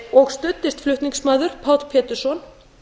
og studdist flutningsmaður páll pétursson